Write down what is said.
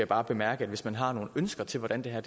bare bemærke at hvis man har nogle ønsker til hvordan det her